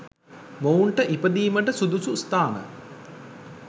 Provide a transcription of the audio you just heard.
මොවුන්ට ඉපදීමට සුදුසු ස්ථාන